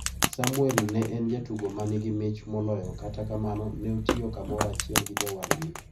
Samuel ne en jatugo manigi mich moloyo kata kamano ne otiyo kamoro achiel gi jowadgi.